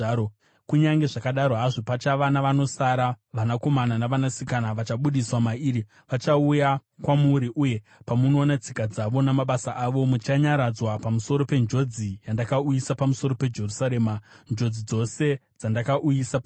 Kunyange zvakadaro hazvo pachava navanosara, vanakomana navanasikana vachabudiswa mairi. Vachauya kwamuri, uye pamunoona tsika dzavo namabasa avo, muchanyaradzwa pamusoro penjodzi yandakauyisa pamusoro peJerusarema, njodzi dzose dzandakauyisa pairi.